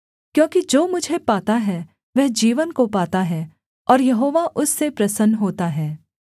क्योंकि जो मुझे पाता है वह जीवन को पाता है और यहोवा उससे प्रसन्न होता है